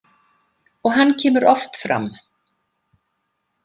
Og hann kemur oft fram.